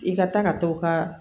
I ka taa ka t'o ka